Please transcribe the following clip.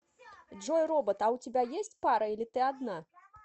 джой робот а у тебя есть пара или ты одна